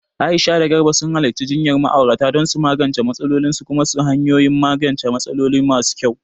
Aisha da Garba sun halarci jinyar ma'aurata don su magance matsalolinsu kuma su samu hanyoyin magance matsaloli masu kyau.